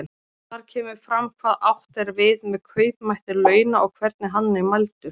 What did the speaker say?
Þar kemur fram hvað átt er við með kaupmætti launa og hvernig hann er mældur.